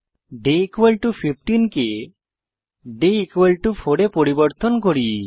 day 15 কে day 4 এ পরিবর্তন করি